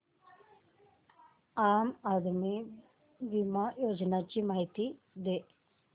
आम आदमी बिमा योजने ची माहिती दे